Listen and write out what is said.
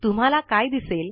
तुम्हाला काय दिसेल